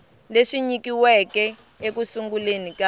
leswi nyikiweke eku sunguleni ka